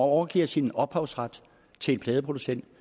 overgiver sin ophavsret til en pladeproducent